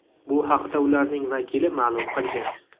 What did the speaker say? Bu haqda ularning vakili ma’lum qilgan.